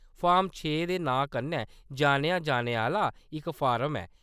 Form छे दे नांऽ कन्नै जानेआ जाने आह्‌‌‌ला इक फार्म ऐ।